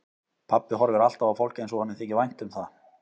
Pabbi horfir alltaf á fólk eins og honum þyki vænt um það.